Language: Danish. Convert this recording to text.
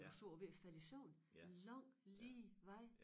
Og du sad og var ved at falde i søvn lang lige vej